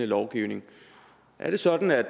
lovgivning er det sådan at